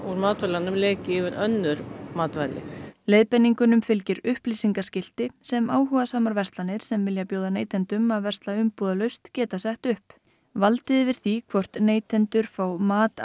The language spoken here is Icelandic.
matvælunum leki yfir önnur matvæli leiðbeiningunum fylgir upplýsingaskilti sem áhugasamar verslanir sem vilja bjóða neytendum að versla umbúðalaust geta sett upp valdið yfir því hvort neytendur fá matvæli